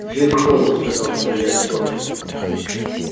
джим холлсказал судья скотт